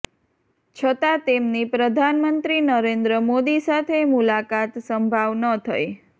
છતાં તેમની પ્રધાનમંત્રી નરેન્દ્ર મોદી સાથે મુલાકાત સંભાવ ન થઇ